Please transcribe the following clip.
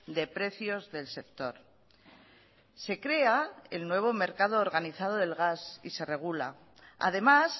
de precios del sector se crea el nuevo mercado organizado del gas y se regula además